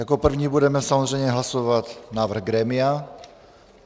Jako první budeme samozřejmě hlasovat návrh grémia.